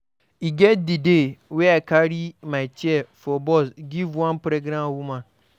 E get di day wey I carry my chair for bus give one pregnant woman.